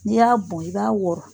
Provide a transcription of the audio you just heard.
N'i y'a bɔn i b'a wɔrɔ.